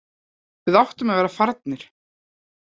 Við áttum að vera farnir.